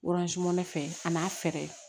fɛ an n'a fɛɛrɛ